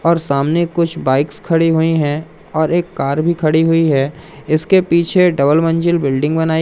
और सामने कुछ बाइक्स खड़ी हुई हैं और एक कार भी खड़ी हुई है इसके पीछे डबल मंजिल बिल्डिंग बनाई--